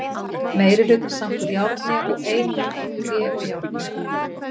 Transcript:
Meiri hlutinn samt úr járni og ein mynd úr tré og járni.